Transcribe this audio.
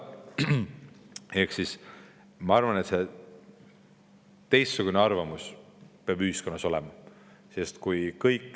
Ehk siis ma arvan, et teistsugune arvamus peab ühiskonnas olema.